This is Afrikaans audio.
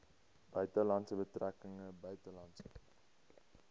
buitelandse betrekkinge buitelandse